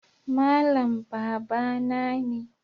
Malam babana ne